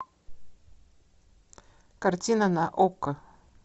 картина на окко